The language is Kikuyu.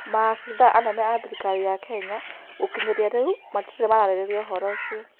Maabĩthaa anene a thĩrĩkarĩ ya Kenya gũkĩnyĩrĩa rĩũ matĩre mararĩrĩria ũhoro ũcĩo